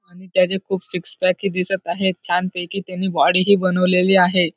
त्याजे खूप six pack ही दिसत आहेत छान पैकी त्याने बॉडी ही बनवलेली आहे.